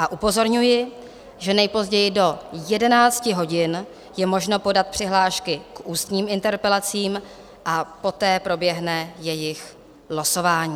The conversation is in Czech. A upozorňuji, že nejpozději do 11 hodin je možno podat přihlášky k ústním interpelacím a poté proběhne jejich losování.